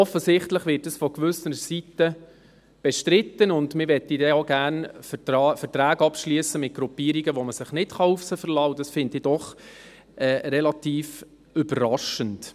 Offensichtlich wird dies von gewissen Seiten bestritten, und man will dann auch gerne Verträge mit Gruppierungen, auf die man sich nicht verlassen kann, abschliessen, und das finde ich doch relativ überraschend.